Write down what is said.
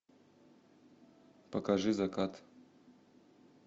покажи закат